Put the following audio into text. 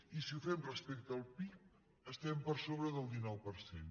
i si ho fem respecte al pib estem per sobre del dinou per cent